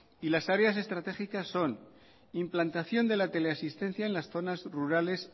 y las áreas estratégicas son implantación de la teleasistencia en las zonas rurales